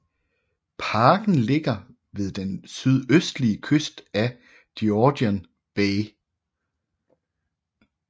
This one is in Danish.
Parken ligger ved den sydøstlige kyst af Georgian Bay